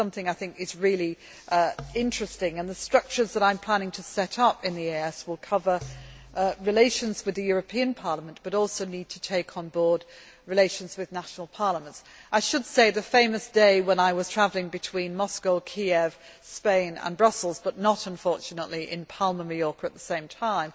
This is something that I think is really interesting. The structures that I am planning to set up in the EEAS will cover relations with the European Parliament but also need to take on board relations with national parliaments. I should mention the famous day when I was travelling between Moscow, Kiev, Spain and Brussels but was not unfortunately in Palma, Majorca at the same